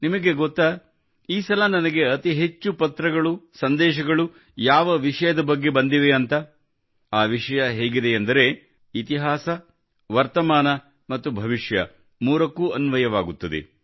ನಿಮಗೆ ಗೊತ್ತಾ ಈ ಸಲ ನನಗೆ ಅತಿ ಹೆಚ್ಚು ಪತ್ರಗಳು ಸಂದೇಶಗಳು ಯಾವ ವಿಷಯದ ಬಗ್ಗೆ ಬಂದಿವೆ ಅಂತ ಆ ವಿಷಯ ಹೇಗಿದೆಯೆಂದರೆ ಇತಿಹಾಸ ವರ್ತಮಾನ ಮತ್ತು ಭವಿಷ್ಯ ಮೂರಕ್ಕೂ ಅನ್ವಯವಾಗುತ್ತದೆ